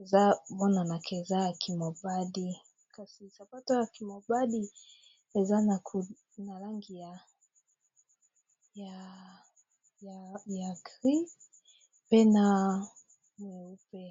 eza bonanaka eza ya kimobadi, kasi sapato ya kimobadi eza na langi ya grie pe na mooupe.